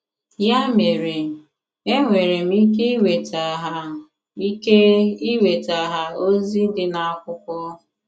Ya mere, enwere m ike iweta ha ike iweta ha ozi di na akwụkwo